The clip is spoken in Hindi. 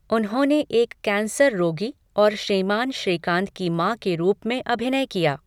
उन्होंने एक कैंसर रोगी और श्रीमान श्रीकांत की माँ के रूप में अभिनय किया।